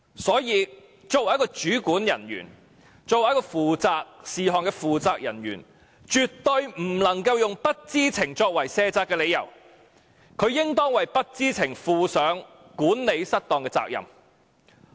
所以，作為一名主管人員及項目負責人員，絕不能用不知情作為卸責的理由，應當為不知情負上管理失當的責任。